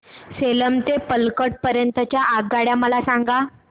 सेलम ते पल्लकड पर्यंत च्या आगगाड्या मला सांगा